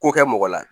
Ko kɛ mɔgɔ la